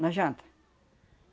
Na janta.